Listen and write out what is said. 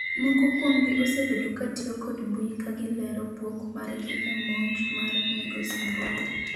moko kuomgi osebedo katiyo kod mbui kagilero buok mar gi e monj mar migosi Mbowe